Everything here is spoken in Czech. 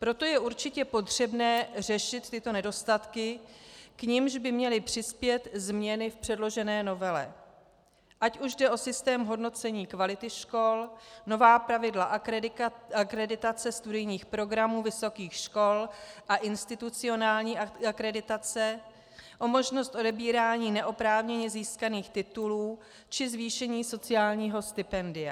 Proto je určitě potřebné řešit tyto nedostatky, k čemuž by měly přispět změny v předložené novele, ať už jde o systém hodnocení kvality škol, nová pravidla akreditace studijních programů vysokých škol a institucionální akreditace, o možnost odebírání neoprávněně získaných titulů či zvýšení sociálního stipendia.